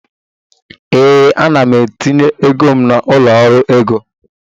Ee, ana m etinye ego m na ụlọ ọrụ ego